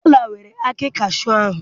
Cola weere akị cashew ahụ